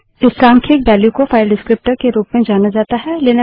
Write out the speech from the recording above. इस सांख्यिक वेल्यू को फाइल डिस्क्रीप्टर विवरणक के रूप में जाना जाता है